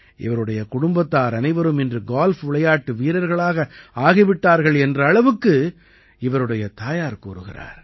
இவருடைய குடும்பத்தார் அனைவரும் இன்று கால்ஃப் விளையாட்டு வீரர்களாக ஆகி விட்டார்கள் என்ற அளவுக்கு இவருடைய தாயார் கூறுகிறார்